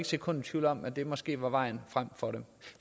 sekund i tvivl om at det måske var vejen frem for dem